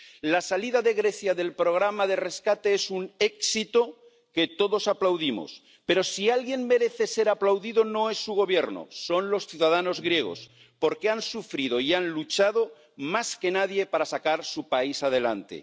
La salida de Grecia del programa de rescate es un éxito que todos aplaudimos, pero, si alguien merece ser aplaudido, no es su Gobierno, son los ciudadanos griegos, porque han sufrido y han luchado más que nadie para sacar su país adelante.